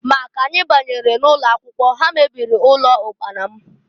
Ma na k'anyị banyere n'ụlọakwụkwọ, ha mebiri ụlọ ụkpana m.